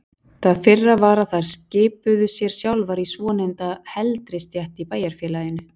Það fyrra var að þær skipuðu sér sjálfar í svonefnda heldri stétt í bæjarfélaginu.